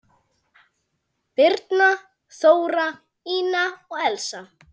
Birna, Þóra, Ína og Elsa.